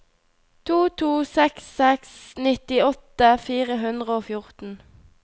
to to seks seks nittiåtte fire hundre og fjorten